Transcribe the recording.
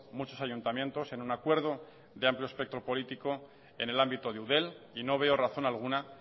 muchos ayuntamientos en un acuerdo de amplio espectro político en el ámbito de eudel y no veo razón alguna